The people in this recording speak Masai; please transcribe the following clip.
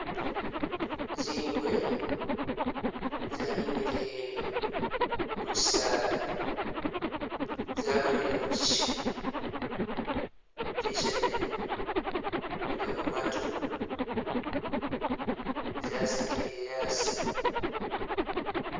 Zingwe zaninile kukyisala zagonele kukyisha, kyishe gyene gyiliko matu zasililile asi